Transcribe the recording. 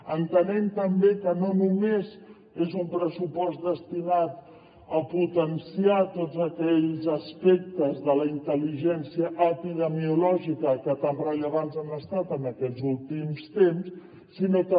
entenem també que no només és un pressupost destinat a potenciar tots aquells aspectes de la intel·ligència epidemiològica que tan rellevants han estat en aquests últims temps sinó també